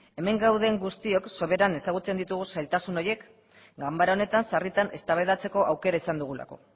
hemen gauden guztiok soberan ezagutzen ditugun zailtasun horiek ganbara honetan sarritan eztabaidatzeko aukera izan dugulako